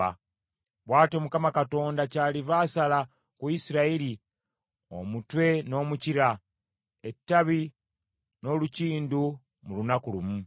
Bw’atyo Mukama Katonda kyaliva asala ku Isirayiri, omutwe n’omukira, ettabi n’olukindu mu lunaku lumu.